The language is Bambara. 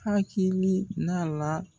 Hakilina la